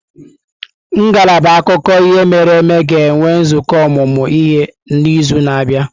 Ngalaba akụkọ ihe mere eme ga-enwe nzukọ ọmụmụ ihe n'izu na-abịa.